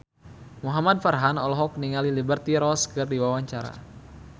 Muhamad Farhan olohok ningali Liberty Ross keur diwawancara